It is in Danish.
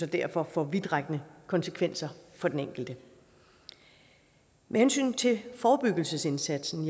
derfor får vidtrækkende konsekvenser for den enkelte med hensyn til forebyggelsesindsatsen